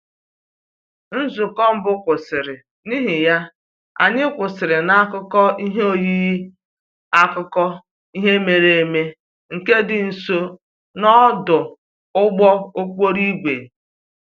Nzukọ mbụ kwụsịrị, n'ihi ya, anyị kwụsịrị n'akụkụ ihe oyiyi akụkọ ihe mere eme nke dị nso n'ọdụ ụgbọ okporo ígwè